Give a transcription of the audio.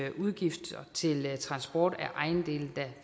af udgifter til transport af ejendele der